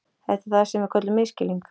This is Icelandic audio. Þetta er það sem við köllum misskilning.